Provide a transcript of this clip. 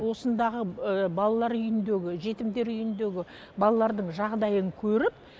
осындағы балалар үйіндегі жетімдер үйіндегі балалардың жағдайын көріп